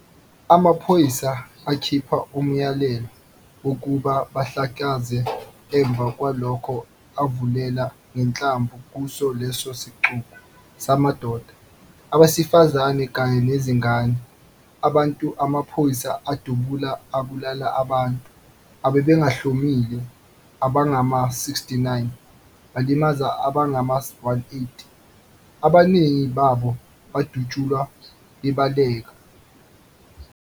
Amaphoyisa akhipha umyalelo wokuba bahlakazeke, emva kwalokho avulela ngenhlamvu kuso leso sixuku samadoda, abasefizana kanye nezingane. Abantu amaphoyisa adubula abulala abantu ababengahlomile abangama-69 balimaza abangama-180, abaningi babo bdutshulwa bebaaleka.